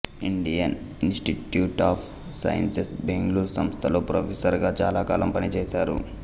Indian institute of sciences Bengaluru సంస్థలో professor గా చాలాకాలం పనిచేసారు